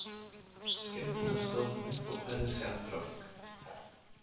Skyndilega stóð hún upp og færði sig afturábak.